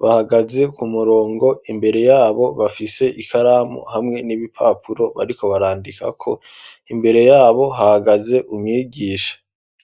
bahagaze ku murongo imbere yabo bafise ikaramu hamwe n'ibipapuro bariko barandika ko, imbere yabo hahagaze umwigisha.